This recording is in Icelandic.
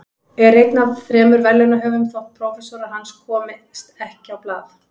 Er einn af þremur verðlaunahöfum þótt prófessorar hans komist ekki á blað.